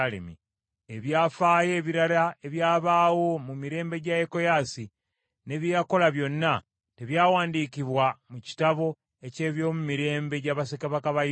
Ebyafaayo ebirala ebyabaawo mu mirembe gya Yekoyaasi, ne bye yakola byonna, tebyawandiikibwa mu kitabo eky’ebyomumirembe gya bassekabaka ba Yuda?